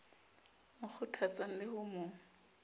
mo kgothatsang le ho mo